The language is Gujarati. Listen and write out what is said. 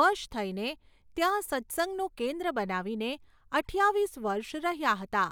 વશ થઈને ત્યાં સત્સંગનું કેન્દ્ર બનાવીને અઠ્ઠાવીસ વર્ષ રહ્યા હતા.